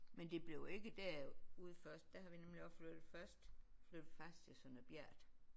Men det blev ikke derude først der har vi nemlig også flyttet først flyttede vi faktisk til Sønder Bjert